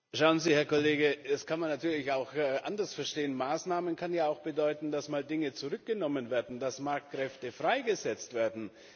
Schauen Sie, Herr Kollege, das kann man natürlich auch anders verstehen. Maßnahmen kann ja auch bedeuten, dass mal Dinge zurückgenommen werden, dass Marktkräfte freigesetzt werden.